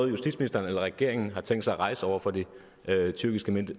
justitsministeren eller regeringen har tænkt sig at rejse over for de tyrkiske